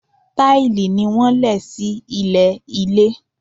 Táìlì ni wọ́n lẹ̀ sí ilẹ̀ ilé.